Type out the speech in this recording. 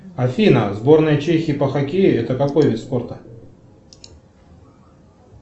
афина сборная чехии по хоккею это какой вид спорта